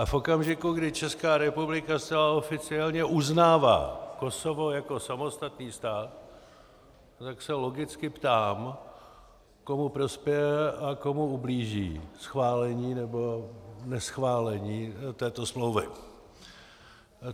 A v okamžiku, kdy Česká republika zcela oficiálně uznává Kosovo jako samostatný stát, tak se logicky ptám, komu prospěje a komu ublíží schválení nebo neschválení této smlouvy.